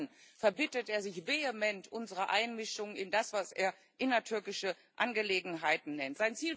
Seit Jahren verbittet er sich vehement unsere Einmischung in das, was er innertürkische Angelegenheiten nennt.